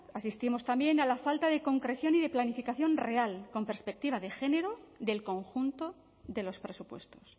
asistimos también a la falta de concreción y de planificación real con perspectiva de género del conjunto de los presupuestos